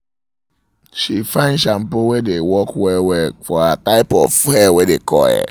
she find um shampoo wae dae work um well-well um for her type of hair wae dae curl